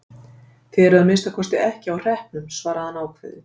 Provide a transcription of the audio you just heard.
Þið eruð að minnsta kosti ekki á hreppnum, svaraði hann ákveðið.